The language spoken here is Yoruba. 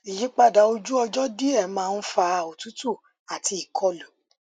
ìyípadà ojú ọjọ díẹ máa ń fa òtútù àti ìkọlù